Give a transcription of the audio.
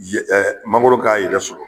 yen mangoro k'a yɛrɛ sɔrɔ.